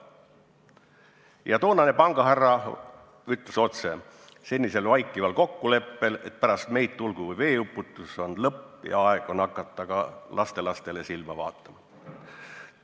Ja toonane pangahärra ütles otse, et senisel vaikival kokkuleppel, et pärast meid tulgu või veeuputus, on lõpp ja aeg on hakata ka lastelastele silma vaatama.